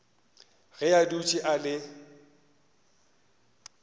ge a dutše a le